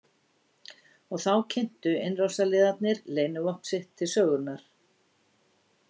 Og þá kynntu innrásarliðar leynivopn sitt til sögunnar.